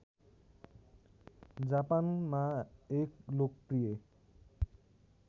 जापानमा एक लोकप्रिय